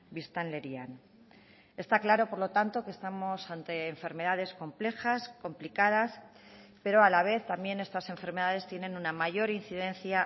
biztanlerian está claro por lo tanto que estamos ante enfermedades complejas complicadas pero a la vez también estas enfermedades tienen una mayor incidencia